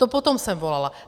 Po tom jsem volala.